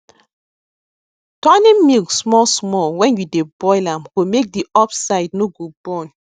turning milk small small when you dey boil am go make the up side no go burn